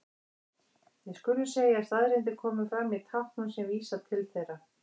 Við skulum segja að staðreyndir komi fram í táknum sem vísa til þeirra.